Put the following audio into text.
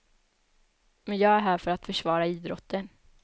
Men jag är här för att försvara idrotten.